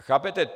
Chápete?